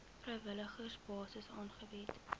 vrywillige basis aangebied